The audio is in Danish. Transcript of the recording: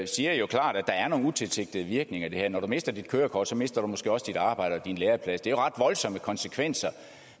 siger jo klart at der er nogle utilsigtede virkninger ved det her når du mister dit kørekort mister du måske også dit arbejde og din læreplads det er ret voldsomme konsekvenser